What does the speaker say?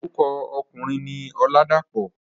Orúkọ ọkùnrin ni Ọládàpọ̀.